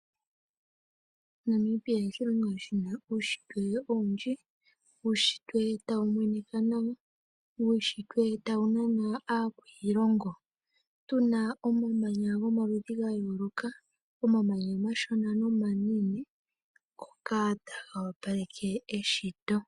Namibia oshilongo shi na uunshitwe owundji. Uunshitwe tawu monika nawa, uunshitwe tawu nana aakwiilongo. Tu na omamanya gomaludhi ga yooloka, omamanya omashona nomanene ngoka taga opaleke eshito.